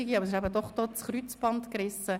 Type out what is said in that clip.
Trotzdem ist das Kreuzband gerissen.